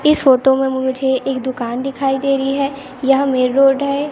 इस फोटो में मुझे एक दुकान दिखाई दे रही है या मेन रोड है।